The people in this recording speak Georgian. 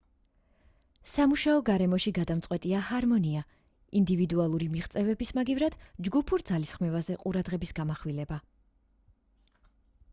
სამუშაო გარემოში გადამწყვეტია ჰარმონია ინდივიდუალური მიღწევების მაგივრად ჯგუფურ ძალისხმევაზე ყურადღების გამახვილება